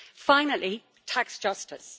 Finally, tax justice.